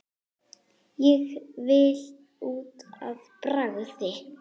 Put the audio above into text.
Ég vil út að bragði!